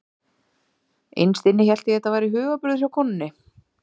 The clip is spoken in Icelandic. Innst inni hélt ég að þetta væri hugarburður hjá konunni.